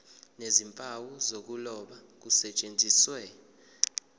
nezimpawu zokuloba kusetshenziswe